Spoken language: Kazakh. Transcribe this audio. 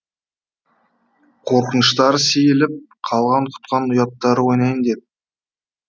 қорқыныштары сейіліп қалған құтқан ұяттары деді